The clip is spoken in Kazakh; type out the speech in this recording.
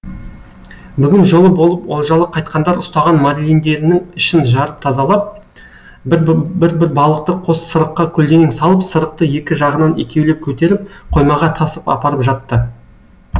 бүгін жолы болып олжалы қайтқандар ұстаған марлиндерінің ішін жарып тазалап бір бір балықты қос сырыққа көлденең салып сырықты екі жағынан екеулеп көтеріп қоймаға тасып апарып жатты